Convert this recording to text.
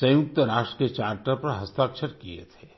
सयुंक्त राष्ट्र के चार्टर पर हस्ताक्षर किए थे